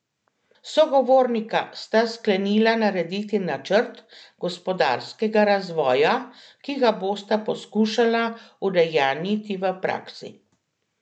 Sogovornika sta sklenila narediti načrt gospodarskega razvoja, ki ga bosta poskušala udejanjiti v praksi.